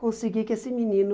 Conseguir que esse menino...